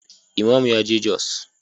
Imam ya je jos.